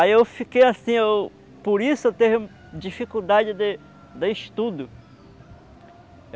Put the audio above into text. Aí eu fiquei assim, eu por isso eu tive dificuldade de de estudo.